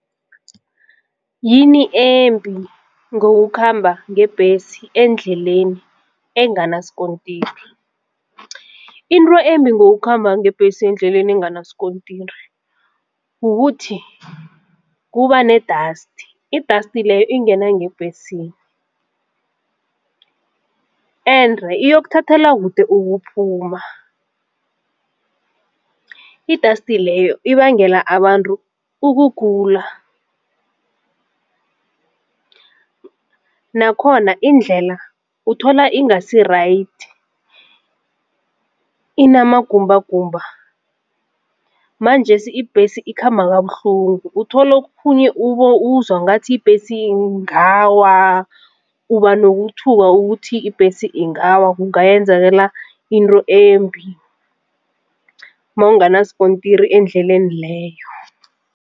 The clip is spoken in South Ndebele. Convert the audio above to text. Yini embi ngokukhamba ngebhesi endleleni enganasikontiri? Into embi ngokukhamba ngebhesi endleleni enganasikontiri kukuthi kuba ne-dust, i-dust leyo ingena ngebhesini ende iyokuthathela kude ukuphuma. I-dust leyo ibangela abantu ukugula. Nakhona indlela uthola ingasi-right inamagumbagumba manjesi ibhesi ikhamba kabuhlungu. Uthole okhunye uzwa ngathi ibhesi ingawa uba nokuthuthukwa ukuthi ibhesi ingawa kungayenzakala into embi makungana sikontiri endleleni leyo.